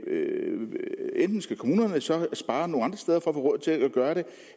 enten skal kommunerne så spare nogle andre for at få råd til at gøre det